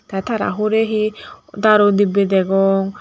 te tara hure he darudibbe degong.